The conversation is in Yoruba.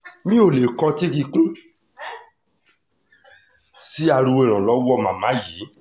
mi ò lè kọtí ikún sí ariwo ìrànlọ́wọ́ màmá yìí